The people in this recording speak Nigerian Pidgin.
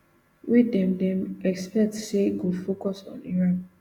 wey dem dem expect say go focus on iran